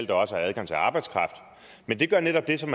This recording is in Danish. der også er adgang til arbejdskraft men det gør netop det som